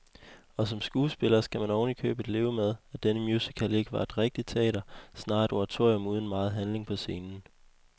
Og som skuespiller skal man ovenikøbet leve med, at denne musical ikke er rigtigt teater, snarere et oratorium uden megen handling på scenen.